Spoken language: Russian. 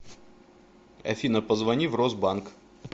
афина позвони в росбанк